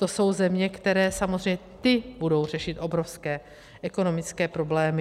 To jsou země, které samozřejmě, ty budou řešit obrovské ekonomické problémy.